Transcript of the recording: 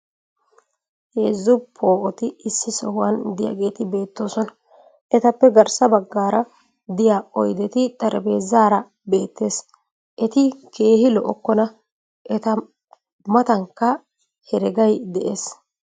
heezzu poo'otti issi sohuwan diyaageeti beetyoosona. etappe garssa bagaara diya oydetti xarapheezzaara beetyees. eti keehi lo'okkonna. eta matankka heregay des.